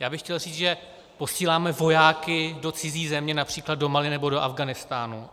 Já bych chtěl říct, že posíláme vojáky do cizí země, například do Mali nebo do Afghánistánu.